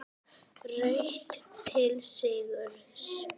Hraut til sigurs